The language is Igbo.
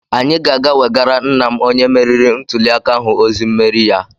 Anyị ga-aga wegara nna m onye meriri ntuliaka ahụ ozi mmeri ya.